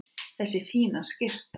Þessi fína skyrta!